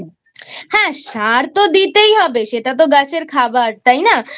হ্যাঁ সার তো দিতেই হবে সেটা তো গাছের খাবার তাই না?